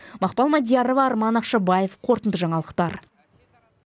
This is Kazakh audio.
мақпал мадиярова арман ақшабаев қорытынды жаңалықтар